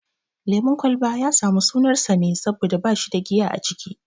Lemun kwalba ya samu sunar sa ne saboda bashi da giya a ciki